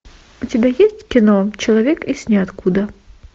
у тебя есть кино человек из ниоткуда